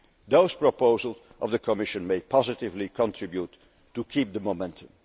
Those proposals by the Commission may positively contribute to keeping the